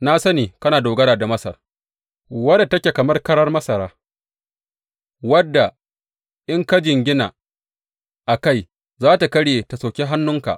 Na sani kana dogara da Masar, wadda take kamar karar masara, wadda in ka jingina a kai, za tă karye tă soki hannunka.